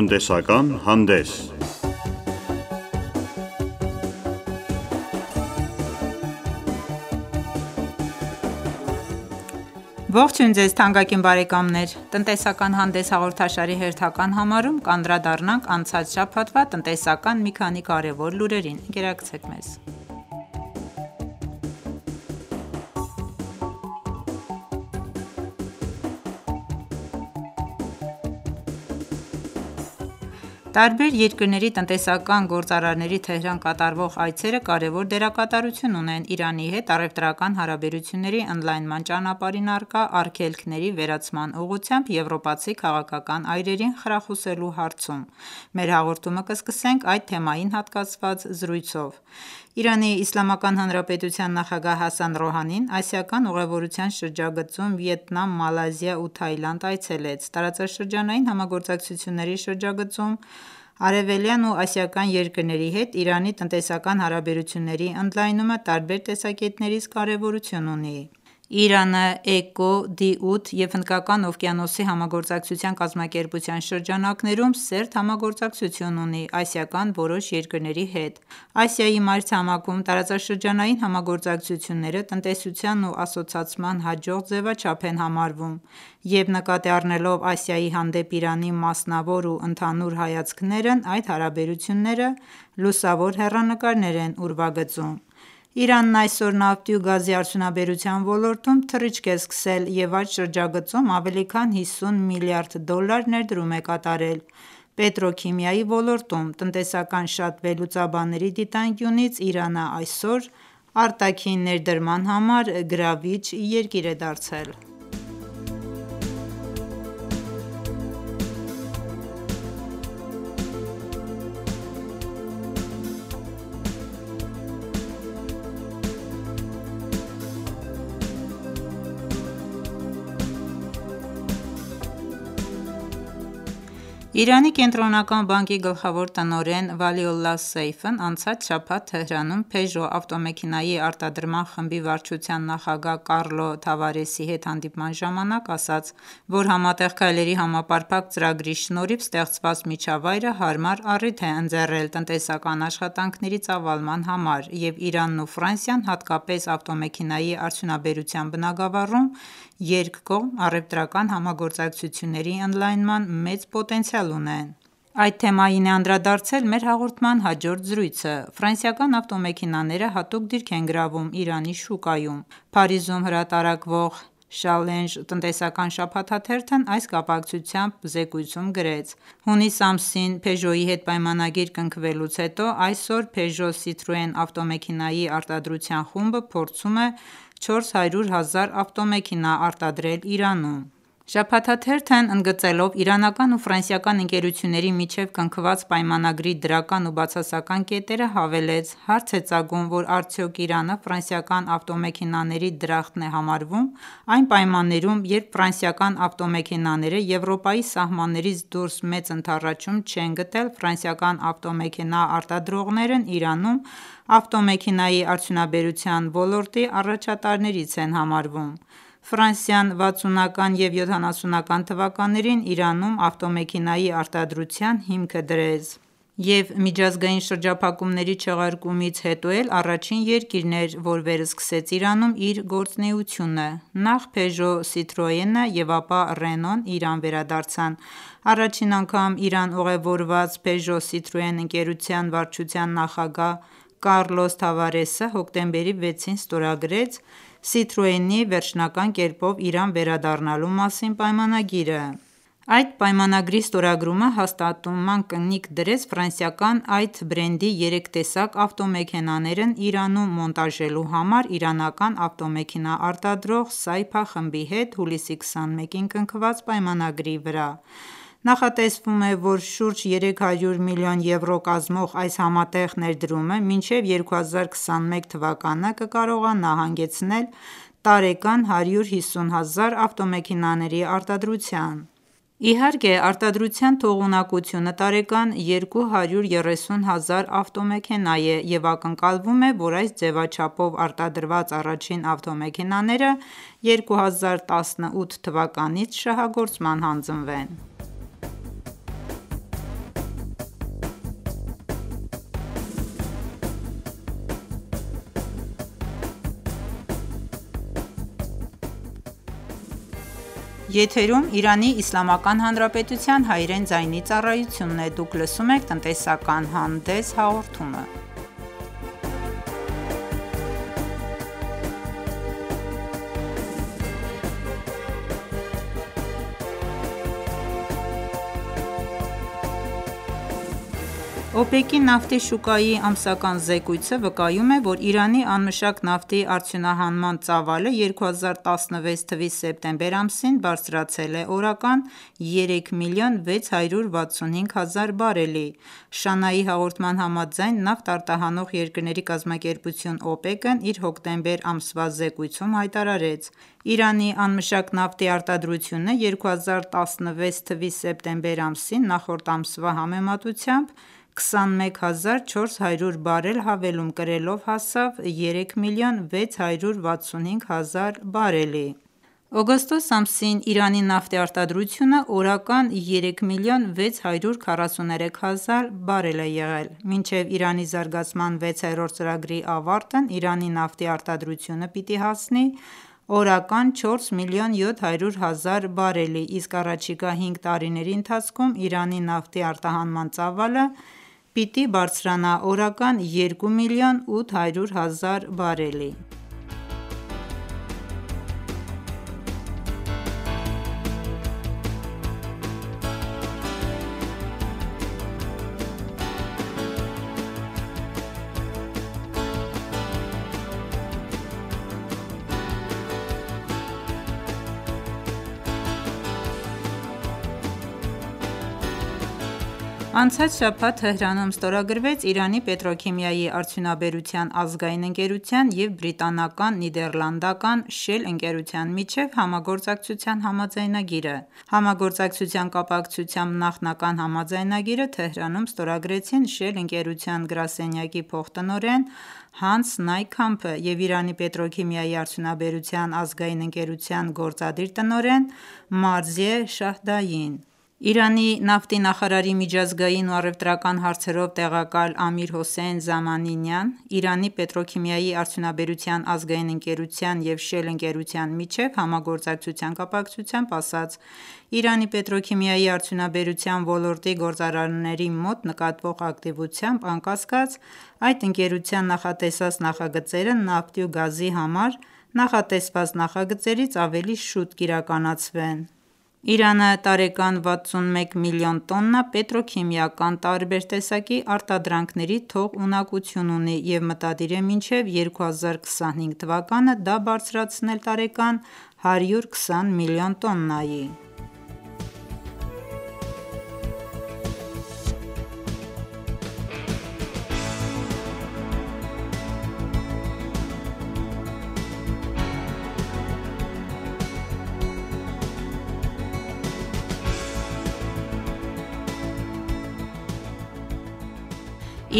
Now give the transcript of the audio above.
Տնտեսական հանդես Ողջույն Ձեզ թանկագին բարեկամներ: «Տնտեսական հանդես» հաղորդաշարի հերթական համարում կանդրադառնանք անցած շաբաթվա տնտեսական մի քանի կարևոր լուրերին: Տարբեր երկրների տնտեսական գործարարների Թեհրան կատարվող այցերը կարևոր դերակատարություն ունեն Իրանի հետ առևտրական հարաբերությունների ընդլայնման ճանապարհին առկա արգելքների վերացման ուղղությամբ եվրոպացի քաղաքական այրերին խրախուսելու հարցում: Մեր հաղորդումը կսկսենք այդ թեմային հատկացված զրույցով: ԻԻՀ նախագահ Հասան Ռոհանին ասիական ուղևորության շրջագծում Վիետնամ, Մալայզիա ու Թաիլանդ այցելեց: Տարածաշրջանային համագործակցությունների շրջագծում արևելյան ու ասիական երկրների հետ Իրանի տնտեսական հարաբերությունների ընդլայնումը տարբեր տեսակետներից կարևորություն ունի: Իրանը ԷԿՕ, Դի-8 և Հնդկական օվկիանոսի համագործակցության կազմակերպության շրջանակներում սերտ համագործակցություն ունի ասիական որոշ երկրների հետ: Ասիայի մայրցամաքում տարածաշրջանային համագործակցությունները տնտեսության ու ասոցացման հաջող ձևաչափ են համարվում և նկատի առնելով Ասիայի հանդեպ Իրանի մասնավոր ու ընդհանուր հայացքներն այդ հարաբերությունները լուսավոր հեռանկարներ են ուրվագծում: Իրանն այսօր նավթի ու գազի արդյունաբերության ոլորտում թռիչք է սկսել և այդ շրջագծում ավելի քան 50 միլիարդ դոլար ներդրում է կատարել պետրոքիմիայի ոլորտում: Տնտեսական շատ վերլուծաբանների դիտանկյունից Իրանն այսօր արտաքին ներդրման համար գրավիչ երկիր է դարձել: Իրանի կենտրոնական բանկի գլխավոր տնօրեն Վալիոլլահ Սեյֆն անցած շաբաթ՝ Թեհրանում, «Փեժո» ավտեմեքենայի արտադրման խմբի վարչության նախագահ Կառլո Թավարեսի հետ հանդիպման ժամանակ, ասաց, որ Համատեղ քայլերի համապարփակ ծրագրի շնորհիվ ստեղծված միջավայրը հարմար առիթ է ընձեռել տնտեսական աշխատանքների ծավալման համար և Իրանն ու Ֆրանսիան հատկապես ավտոմեքենայի արդյունաբերության բնագավառում երկկողմ առևտրական համագործակցությունների ընդլայնման մեծ պոտենցիալ ունեն: Այդ թեմային է անդրադարձել մեր հաղորդման հաջորդ զրույցը: Ֆրանսիական ավտոմեքենաները հատուկ դիրք են գրավում Իրանի շուկայում: Փարիզում հրատարակվող «Շալենժ» տնտեսական շաբաթաթերթն այս կապակցությամբ զեկույցում գրեց. «Հունիս ամսին «Փեժո»-ի հետ պայմանագիր կնքվելուց հետո այսօր «Փեժո-Սիթրոեն» ավտոմեքենայի արտադրության խումբը փորձում է 400 հազար ավտոմեքենա արտադրել Իրանում»: Շաբաթաթերթն ընդգծելով իրանական ու ֆրանսիական ընկերությունների միջև կնքված պայմանագրի դրական ու բացասական կետերը, հավելեց. «Հարց է ծագում, որ արդյոք Իրանը ֆրանսիական ավտոմեքենաների դրախտն է համարվում»: Այն պայմաններում երբ ֆրանսիական ավտոմեքենաները Եվրոպայի սահմաններից դուրս մեծ ընդառաջում չեն գտել, ֆրանսիական ավտոեմքենա արտադրողներն Իրանում ավտոմեքենայի արդյունաբերության ոլորտի առաջատարներից են համարվում: Ֆրանսիան 60-ական և 70-ական թվականներին Իրանում ավտոմեքենայի արդյունաբերության հիմքը դրեց և միջազգային շրջափակումների չեղարկումից հետո էլ առաջին երկիրն էր, որ վերսկսեց Իրանում իր գործունեությունը: Նախ «Փեժո-Սիթրոեն»-ը և ապա «Ռենո»-ն Իրան վերադարձան: Առաջին անգամ Իրան ուղևորված «Փեժո-Սիթրոեն» ընկերության վարչության նախագահ Կառլոս Թավարեսը հոկտեմբերի 6-ին ստորագրեց «Սիթրոեն»-ի վերջնական կերպով Իրան վերադառնալու մասին պայմանագիրը: Այդ պայմանագրի ստորագրումը հաստատման կնքի դրեց ֆրանսիական այդ բրենդի երեք տեսակ ավտոմեքենաներն Իրանում մոնտաժելու համար իրանական ավտոմեքենա արտադրող «Սայփա» խմբի հետ հուլիսի 21-ին կնքված պայմանագրի վրա: Նախատեսվում է, որ շուրջ 300 միլիոն եվրո կազմող այս համատեղ ներդրումը մինչև 2021 թվականը կկարողանա հանգեցնել տարեկան 150 հազար ավտոմեքենաների արտադրության: Իհարկե արտադրության թողունակությունը տարեկան 230 հազար ավտոմեքենա է և ակնկալվում է, որ այս ձևաչափով արտադրված առաջին ավտոմեքենաները 2018 թվականից շահագործման հանձնվեն: ՕՊԵԿ-ի նավթի շուկայի ամսական զեկույցը վկայում է, որ Իրանի անմշակ նավթի արդյունահանման ծավալը 2016 թվականի սեպտեմբեր ամսին բարձրացել է օրական 3 միլիոն 665 հազար բարելի: ՇԱՆԱ-ի հաղորդման համաձայն, Նավթ արտահանող երկրների կազմակերպություն՝ ՕՊԵԿ-ն իր հոկտեմբեր ամսվա զեկույցում հայտարարեց. «Իրանի անմշակ նավթի արտադրությունը 2016 թվականի սեպտեմբեր ամսին նախորդ ամսվա համեմատությամբ 21 հազար 400 բարել հավելում կրելով հասավ 3 միլիոն 665 հազար բարելի»: Օգոստոս ամսին Իրանի նավթի արտադրությունը օրական 3 միլիոն 643 հազար բարել է եղել: Մինչև Իրանի զարգացման վեցերորդ ծրագրի ավարտն Իրանի նավթի արտադրությունը պիտի հասնի օրական 4 միլիոն 700 հազար բարելի, իսկ առաջիկա հինգ տարիների ընթացքում Իրանի նավթի արտահանման ծավալը պիտի բարձրանա օրական 2 միլիոն 800 հազար բարելի: Անցած շաբաթ Թեհրանում ստորագրվեց Իրանի պետրոքիմիայի արդյունաբերության ազգային ընկերության և բրիտանական-նիդերլանդական «Շել» ընկերության միջև համագործակցության համաձայնագիրը: Համագործակցության կապակցությամբ նախնական համաձայնագիրը Թեհրանում ստորագրեցին «Շել» ընկերության գրասենյակի փոխտնօրեն Հանս Նայ Քամփը և Իրանի պետրոքիմիայի արդյունաբերության ազգային ընկերության գործադիր տնօրեն Մարզիե Շահդային: Իրանի նավթի նախարարի միջազգային ու առևտրական հարցերով տեղակալ Ամիր Հոսեյն Զամանի Նիան Իրանի պետրոքիմիայի արդյունաբերության ազգային ընկերության և «Շել» ընկերության միջև համագործակցության կապակցությամբ ասաց, որ Իրանի պետրոքիմիայի արդյունաբերության ոլորտի գործարարների մոտ նկատվող ակտիվությամբ անկասկած այդ ընկերության նախատեսած նախագծերը նավթի ու գազի համար նախատեսված նախագծերից ավելի շուտ կիրականացվեն: Իրանը տարեկան 61 միլիոն տոննա պետրոքիմիական տարբեր տեսակի արտադրանքների թողունակություն ունի և մտադիր է մինչև 2025 թվականը դա բարձրացնել տարեկան 120 միլիոն տոննայի: